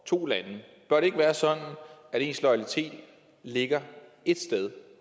to lande bør det ikke være sådan at ens loyalitet ligger ét sted